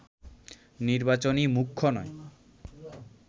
নির্বাচনই মুখ্য নয়